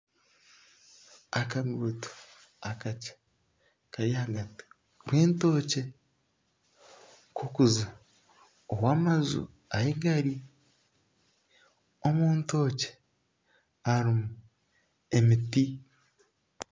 Akaguuto akakye kari ahagati y'entookye k'okuza ow'amaju ahi gari. Omu ntookye harimu emiti.